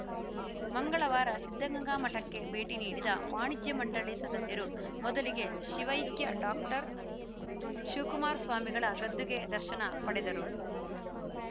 ಮಂಗಳವಾರ ಸಿದ್ಧಗಂಗಾ ಮಠಕ್ಕೆ ಭೇಟಿ ನೀಡಿದ ವಾಣಿಜ್ಯ ಮಂಡಳಿ ಸದಸ್ಯರು ಮೊದಲಿಗೆ ಶಿವೈಕ್ಯ ಡಾಕ್ಟರ್ ಶಿವಕುಮಾರ ಸ್ವಾಮೀಜಿಗಳ ಗದ್ದುಗೆ ದರ್ಶನ ಪಡೆದರು